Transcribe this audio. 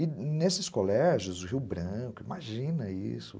E nesses colégios, o Rio Branco, imagina isso.